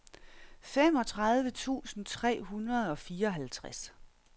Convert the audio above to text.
femogtredive tusind tre hundrede og fireoghalvtreds